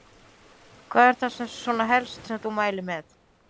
Hvað er það svona helsta sem þú mælir með?